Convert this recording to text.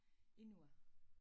Inur